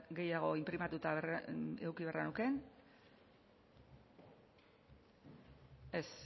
gehiago inprimatuta eduki beharra nuke ez